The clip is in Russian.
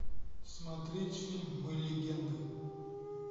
смотреть фильм мы легенды